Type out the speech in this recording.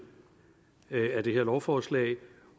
af det her lovforslag